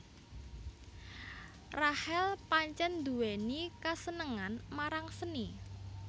Rachel pancèn nduwèni kasenengan marang seni